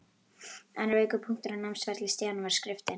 Annar veikur punktur á námsferli Stjána var skriftin.